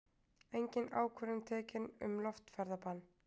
Engin ákvörðun tekin um loftferðabann